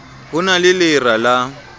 ho na le lera la